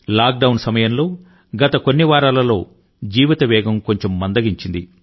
lockdown సమయంలో గత కొన్ని వారాలలో జీవిత వేగం కొంచెం మందగించింది